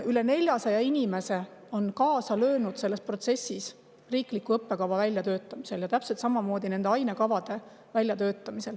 Üle 400 inimese on kaasa löönud selles protsessis, et välja töötada riiklik õppekava ja täpselt samamoodi ainekavad.